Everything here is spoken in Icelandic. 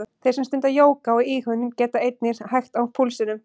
Þeir sem stunda jóga og íhugun geta einnig hægt á púlsinum.